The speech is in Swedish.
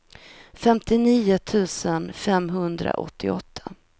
femtionio tusen femhundraåttioåtta